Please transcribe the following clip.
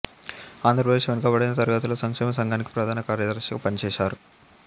ఆంధ్ర ప్రదేశ్ వెనుకబడిన తరగతుల సంక్షేమ సంఘానికి ప్రధాన కార్యదర్శి గా పనిచేశారు